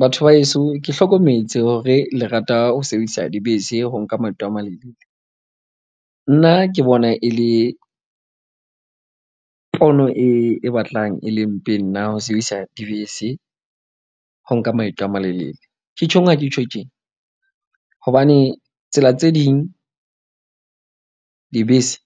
Batho ba heso, ke hlokometse hore le rata ho sebedisa dibese ho nka maeto a malelele. Nna ke bona e le pono e batlang e le mpe nna ho sebedisa dibese. Ho nka maeto a malelele. Ke tjho eng ha ke tjho tjena? Hobane tsela tse ding dibese